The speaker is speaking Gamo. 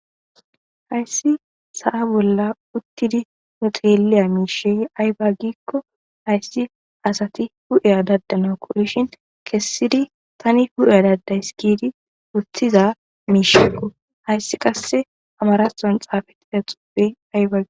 Haysi sa'a bolla utidi nu xeeliya mish ayba giikon haysi asati hu'iya dadanawu koyshin kesidi Tani hu'iya dadays giid wothiza miishako, haysi qase amarathon xaafetida xuufeyi ayba gi..